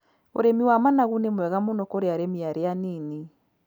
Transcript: Ũrĩmi wa managu nĩ mwega mũno kũri arĩmi arĩa a nini.